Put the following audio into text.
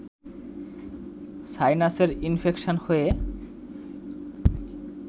সাইনাসের infection হয়ে